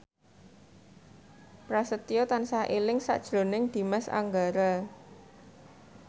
Prasetyo tansah eling sakjroning Dimas Anggara